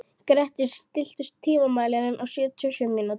Grettir, stilltu tímamælinn á sjötíu og sjö mínútur.